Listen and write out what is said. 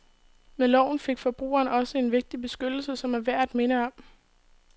Med loven fik forbrugeren også en vigtig beskyttelse, som er værd at minde om.